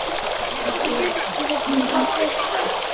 Hún er nú í hléi.